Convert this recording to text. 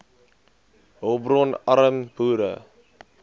hulpbron arm boere